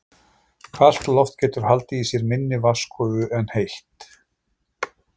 Kalt loft getur haldið í sér minni vatnsgufu en heitt.